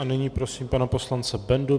A nyní prosím pana poslance Bendu.